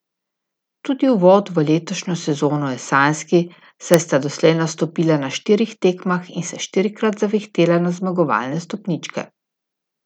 Tudi uvod v letošnjo sezono je sanjski, saj sta doslej nastopila na štirih tekmah in se štirikrat zavihtela na zmagovalne stopničke.